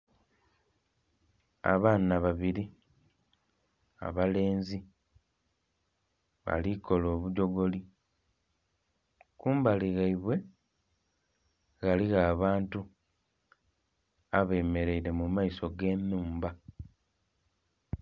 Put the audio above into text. Abaana babiri abalenzi alikola obugyogoli kumbali ghaibwe ghaligho abantu abemeraire mumaiso ag'enhumba.